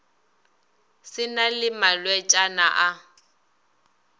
se na le malwetšana a